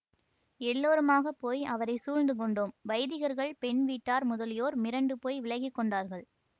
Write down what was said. எல்லோருமாகப் போய் அவரை சூழ்ந்து கொண்டோ ம் வைதிகர்கள் பெண் வீட்டார் முதலியோர் மிரண்டு போய் விலகி கொண்டார்கள்